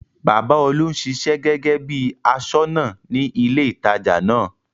Bàbá Olú ń ṣiṣẹ́ gẹ́gẹ́ bí bí i aṣọ́nà ní ilé-ìtajà náà.